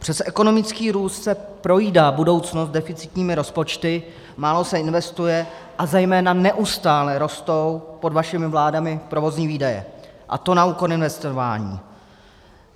Přes ekonomický růst se projídá budoucnost deficitními rozpočty, málo se investuje a zejména neustále rostou pod vašimi vládami provozní výdaje, a to na úkor investování.